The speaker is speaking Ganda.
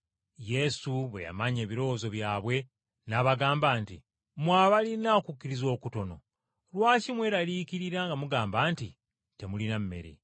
Yesu bwe yamanya ebirowoozo byabwe n’abagamba nti, “Mmwe abalina okukkiriza okutono lwaki mweraliikirira nga mugamba nti, ‘temulina mmere?’